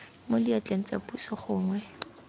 mo diatleng tsa puso gongwe